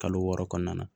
Kalo wɔɔrɔ kɔnɔna na